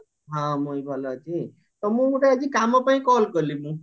ହଁ ମୁଁ ବି ଭଲ ଅଛି ତମକୁ ଗୋଟେ ଆଜି କାମ ପାଇଁ call କଲି ମୁଁ